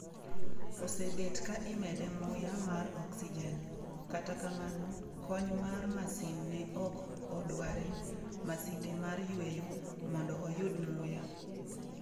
Osebet ka imede muya mar oksijen, kata kamano kony mar masin ne ok odware (masinde mar yweyo) mondo oyud muya.